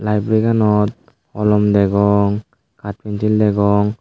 laibri ganot holom degong hap pinsil degong.